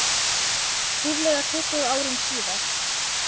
Ríflega tuttugu árum síðar.